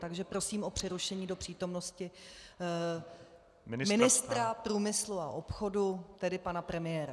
Takže prosím o přerušení do přítomnosti ministra průmyslu a obchodu, tedy pana premiéra.